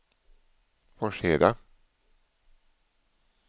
Forsheda